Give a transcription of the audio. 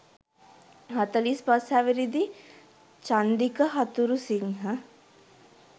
හතළිස් පස් හැවිරිදි චන්දික හතුරුසිංහ